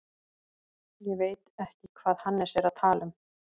Ég veit ekki hvað Hannes er að tala um.